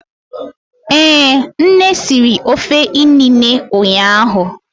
Ee nne siri ofe inine ụnyahụ